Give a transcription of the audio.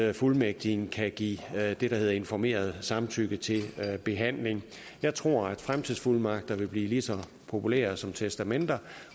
at fuldmægtigen kan give det der hedder informeret samtykke til behandling jeg tror at fremtidsfuldmagter vil blive lige så populære som testamenter